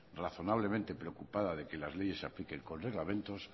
razonablemente preocupada de que las leyes se apliquen con reglamentos